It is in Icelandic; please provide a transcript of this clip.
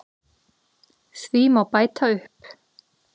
Því má bæta upp